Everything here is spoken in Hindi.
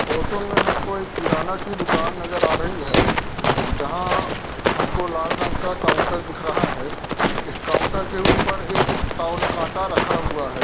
फोटो में हमको एक किराना की डुकान नजर आ रही है जहाँ हमको लाल रंग का काउंटर दिख रहा है इस काउंटर के ऊपर एक टॉवल कांटा रखा हुआ है।